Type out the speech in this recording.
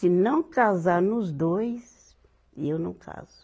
Se não casar nos dois, eu não caso.